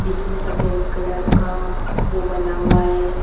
बिच में सफ़ेद कलर का वो बना हुआ है।